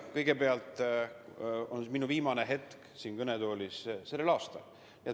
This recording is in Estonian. Kõigepealt, mul on käes viimane hetk tänavu siin Riigikogu kõnetoolis seista.